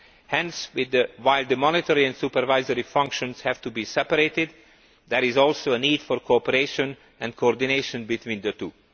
Hence, while the monetary and supervisory functions have to be separated, there is also a need for cooperation and coordination between the two.